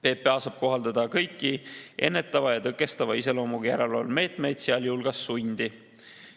PPA saab kohaldada kõiki ennetava ja tõkestava iseloomuga järelevalvemeetmeid, sealhulgas sundi.